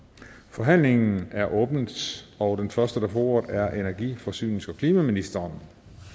forhandlingerne er åbnet og den første der får ordet er energi forsynings og klimaministeren